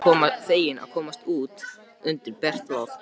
Feginn að komast út undir bert loft.